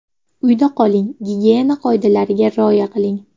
Uyda qoling, gigiyena qoidalariga rioya qiling!